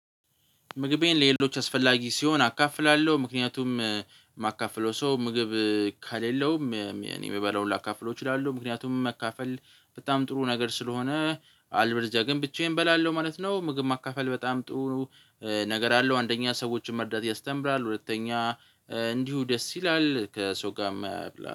ምግቤን ለሌሎች አስፈላጊ ሲሆን አካፍላለሁ ምክንያቱም የማካፍለው ሰው ምግብ ከሌለውም የምበላውን ላካፍለው እችላለሁ ምክንያቱም መካፈል በጣም ጥሩ ነገር ስለሆነ አለበለዚያ ግን ብቻዬን እበላለሁ ማለት ነው። ምግብ ማካፈል በጣም ጥሩ ነው። ነገር አለው አንደኛ ሰዎችን መርዳት ያስተምራል። ሁለተኛ እንዲሁ ደስ ይላል ከሰው ጋርም